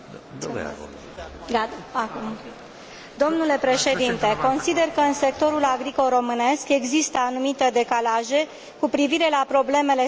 Domnule președinte, consider că în sectorul agricol românesc există anumite decalaje cu privire la problemele structurale față de celelalte state membre.